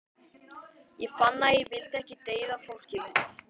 Ég fann að ég vildi ekki deyða fólkið mitt.